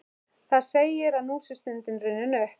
Það segir, að nú sé stundin runnin upp.